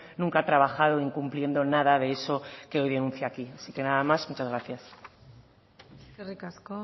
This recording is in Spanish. nunca ha trabajado incumpliendo nada de eso que hoy denuncia aquí así que nada más y muchas gracias eskerrik asko